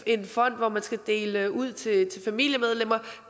en fond hvor man skal dele ud til familiemedlemmer